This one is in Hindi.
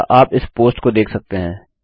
अतः आप इस पोस्ट को देख सकते हैं